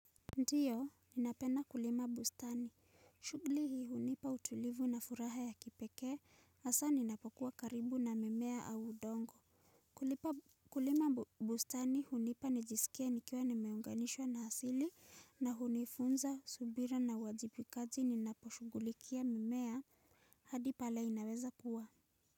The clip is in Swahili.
Ndiyo ninapena kulima bustani shugli hii hunipa utulivu na furaha ya kipeke asa ninapokuwa karibu na mimea au udongo. Kulima bustani hunipa nijisikie nikiwa nimeunganishwa na asili na hunifunza subira na wajibikaji ninaposhughulikia mimea hadi pale inaweza kuwa.